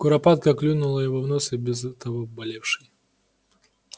куропатка клюнула его в нос и без того болевший